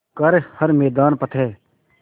कर हर मैदान फ़तेह